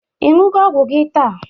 Ị ṅụgo ọgwụ gi taa?